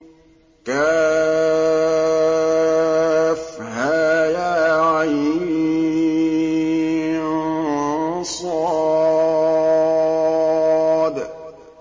كهيعص